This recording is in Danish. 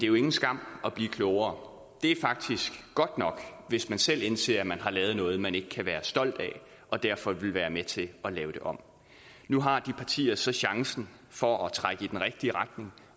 jo ingen skam at blive klogere det er faktisk godt nok hvis man selv indser at man har lavet noget man ikke kan være stolte af og derfor vil være med til at lave det om nu har de partier så chancen for at trække det i den rigtige retning